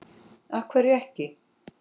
af hverju ekki?